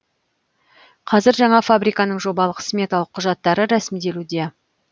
қазір жаңа фабриканың жобалық сметалық құжаттары рәсімделуде